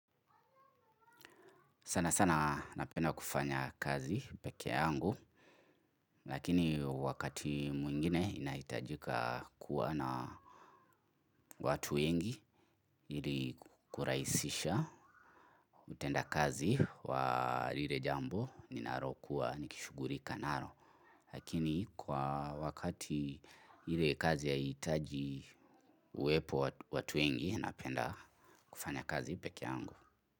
Sana sana napenda kufanya kazi peke angu lakini wakati mwingine inaitajika kuwa na watu wengi ili kuraisisha utenda kazi wa lile jambo ni narokuwa nikishuguri kanaro lakini kwa wakati ile kazi ya itaji uepo watu wengi napenda kufanya kazi peke angu.